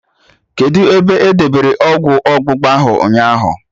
Kedụ ebe edebere ọgwụ ọgbụgba ahụ ụnyaahụ?